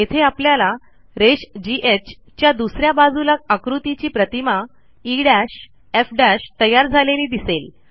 येथे आपल्याला रेषGH च्या दुस या बाजूला आकृतीची प्रतिमा ईएफ तयार झालेली दिसेल